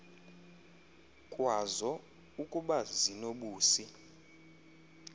kwazo ukuba zinobusi